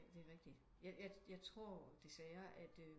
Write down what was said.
Ja det er rigtigt jeg tror desværre at